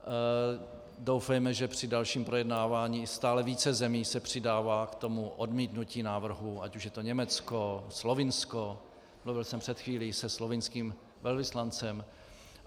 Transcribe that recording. Doufejme, že při dalším projednávání - stále více zemí se přidává k tomu odmítnutí návrhu, ať už je to Německo, Slovinsko - mluvil jsem před chvílí se slovinským velvyslancem.